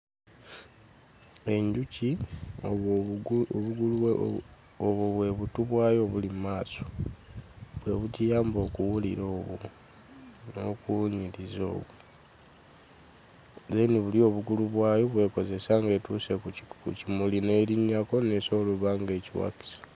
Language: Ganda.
Enjuki obwo bwe butu bwayo obuli mu maaso; bwe bugiyamba okuwulira obwo n'okuwunyiriza okwo. Then buli obugulu bwayo bw'ekozesa ng'etuuse ku kimuli n'erinnyako n'esobola okuba ng'ekiwakisa